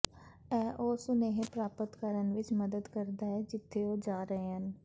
ਇਹ ਉਹ ਸੁਨੇਹੇ ਪ੍ਰਾਪਤ ਕਰਨ ਵਿੱਚ ਮਦਦ ਕਰਦਾ ਹੈ ਜਿੱਥੇ ਉਹ ਜਾ ਰਹੇ ਹਨ